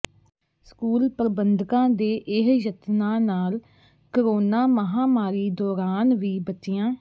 school ਪ੍ਰਬੰਧਕਾਂ ਦੇ ਇਹ ਯਤਨਾਂ ਨਾਲ ਕੋਰੋਨਾ ਮਹਾਮਾਰੀ ਦੌਰਾਨ ਵੀ ਬੱਚਿਆਂ